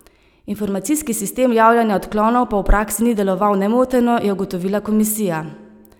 Informacijski sistem javljanja odklonov pa v praksi ni deloval nemoteno, je ugotovila komisija.